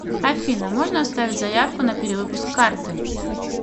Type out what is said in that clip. афина можно оставить заявку на перевыпуск карты